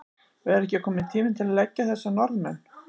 Og er ekki kominn tími til að leggja þessa Norðmenn?